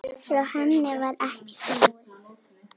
Frá henni varð ekki flúið.